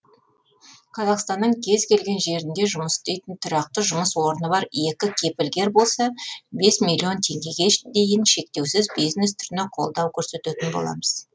қазақстанның кез келген жерінде жұмыс істейтін тұрақты жұмыс орны бар екі кепілгер болса бес миллион теңгеге дейін шектеусіз бизнес түріне қолдау көрсететін боламыз